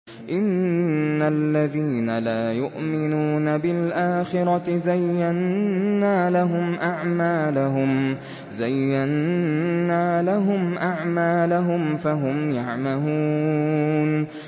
إِنَّ الَّذِينَ لَا يُؤْمِنُونَ بِالْآخِرَةِ زَيَّنَّا لَهُمْ أَعْمَالَهُمْ فَهُمْ يَعْمَهُونَ